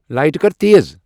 لایٹہٕ کر تیز ۔